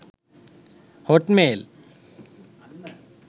hotmail